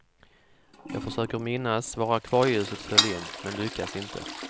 Jag försöker minnas var akvarieljuset föll in, men lyckas inte.